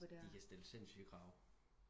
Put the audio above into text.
De kan stille sindsyge krav